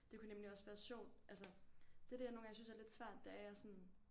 Det kunne nemlig også være sjovt altså det det jeg nogle gange synes er lidt svært det er jeg sådan